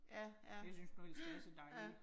Ja ja ja ja